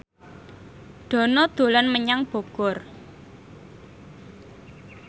Dono dolan menyang Bogor